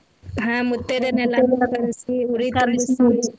ಹಾ ಮುತ್ತೈದೇರ್ನೆಲ್ಲ ಕರ್ಸಿ ಉಡಿ .